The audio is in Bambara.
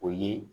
O ye